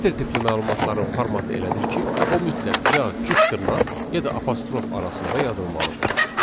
Sətir tipli məlumatların formatı elədir ki, o mütləq ya cüt dırnaq, ya da apostrof arasında yazılmalıdır.